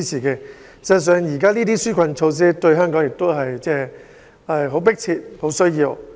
事實上，這些紓困措施於香港而言是迫切需要的。